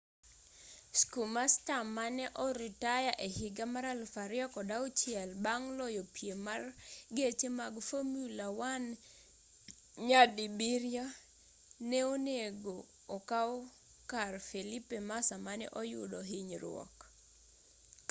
schumacher mane orutaya ehiga mar 2006 bang' loyo piem mar geche mag formula 1 nyadibiriyo ne onego okaw kar felipe massa mane oyudo hinyruok